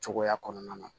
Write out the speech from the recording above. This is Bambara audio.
Cogoya kɔnɔna na